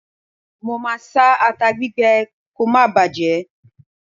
Máa a sá ata gbígbẹ kò máa bàjé.